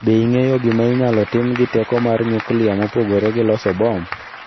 Be ing'eyo gima inyalo tim gi teko mar nyuklia mopogore gi loso bom?